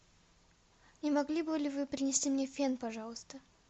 не могли бы вы принести мне фен пожалуйста